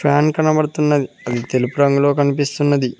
Fan కనబడుతున్నది అది తెలుపు రంగులో కనిపిస్తున్నది.